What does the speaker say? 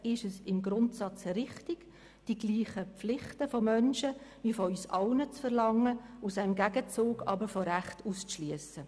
Ist es im Grundsatz richtig, von Menschen dieselben Pflichten wie von uns allen zu verlangen, sie im Gegenzug aber von Rechten auszuschliessen?